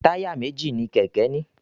Táyà méjì ní kéké ní.